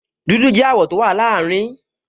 Dúdú jẹ́ àwọ̀ tó wà láàrin